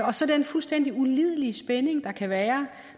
og så den fuldstændig ulidelige spænding der kan være